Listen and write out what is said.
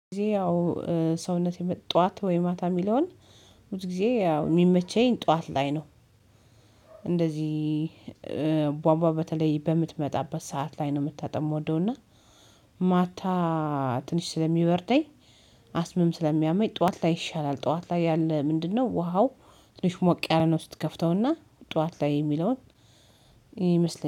ብዙ ጊዜ ያው ሰውነት የመጣ ጠዋት ወይ ማታ የሚለውን ሁል ጊዜ ያው የሚመቸኝ ጠዋት ላይ ነው፤። እንደዚህ ቧቧ በተለይ በምትመጣበት ሰዓት ላይ ነው መታጠብ የምወደውና ማታ ትንሽ ስለሚበርደኝ አስምም ስለሚያመኝ ጠዋት ላይ ይሻላል፤ ጠዋት ላይ ያለ ምንድነው? ውሃው ትንሽ ሞቅ ያለ ነው። ስትከፍተውና ጠዋት ላይ የሚለውን ይመስለኛል